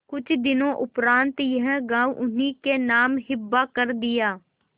कुछ दिनों उपरांत यह गॉँव उन्हीं के नाम हिब्बा कर दिया